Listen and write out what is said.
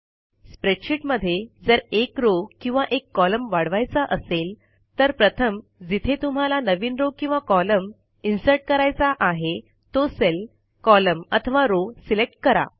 स्प्रेडशीटमध्ये जर एक रो किंवा एक कॉलम वाढवायचा असेल तर प्रथम जिथे तुम्हाला नवीन रो किंवा कॉलम Insert160 करायचा आहे तो सेल कॉलम अथवा रो सिलेक्ट करा